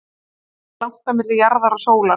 hvað er langt á milli jarðar og sólar